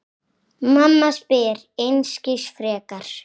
Mamma spyr einskis frekar.